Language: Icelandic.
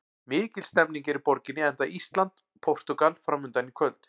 Mikil stemning er í borginni enda Ísland- Portúgal framundan í kvöld.